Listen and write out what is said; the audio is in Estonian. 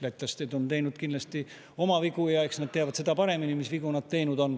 Lätlased on teinud kindlasti oma vigu ja eks nad teavad seda paremini, mis vigu nad teinud on.